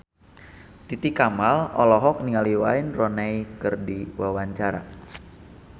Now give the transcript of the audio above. Titi Kamal olohok ningali Wayne Rooney keur diwawancara